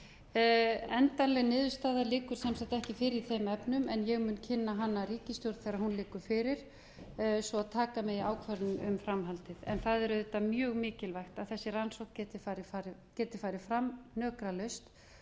liggur sem sagt ekki fyrir í þeim efnum en ég mun kynna hana ríkisstjórn þegar hún liggur fyrir svo taka megi ákvörðun um framhaldið en það er auðvitað mjög mikilvægt að þessi rannsókn geti farið fram hnökralaust og að menn